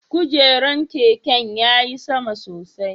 Kujeran keke ya ti sama sosai?